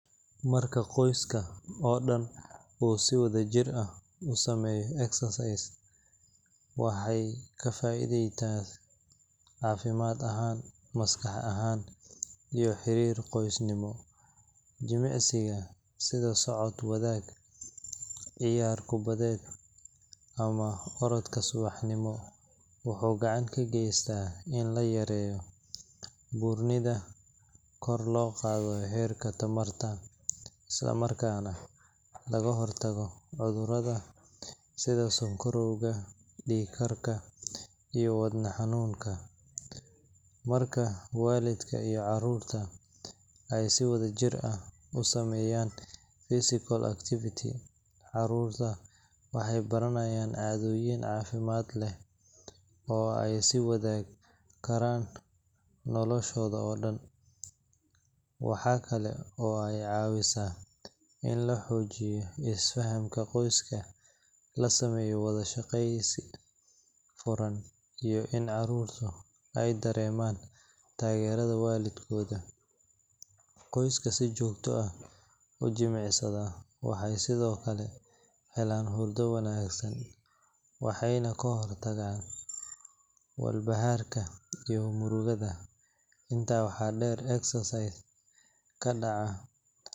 Marka qoyska oo dhan uu si wadajir ah u sameeyo exercise, waxay ka faa'iidaystaan caafimaad ahaan, maskax ahaan, iyo xiriirka qoysnimo. Jimicsiga sida socod wadaag, ciyaar kubadeed, ama orodka subaxnimo wuxuu gacan ka geystaa in la yareeyo buurnida, kor loo qaado heerka tamarta, isla markaana laga hortago cudurrada sida sonkorowga, dhiig karka, iyo wadne xanuunka. Marka waalidka iyo carruurta ay si wadajir ah u sameeyaan physical activity, carruurta waxay baranayaan caadooyin caafimaad leh oo ay sii wadan karaan noloshooda oo dhan. Waxa kale oo ay caawisaa in la xoojiyo isfahamka qoyska, la sameeyo wada sheekeysi furan, iyo in carruurtu ay dareemaan taageerada waalidkooda. Qoysaska si joogto ah u jimicsada waxay sidoo kale helaan hurdo wanaagsan, waxayna ka hortagaan walbahaarka iyo murugada. Intaa waxaa dheer, exercise ka dhaca.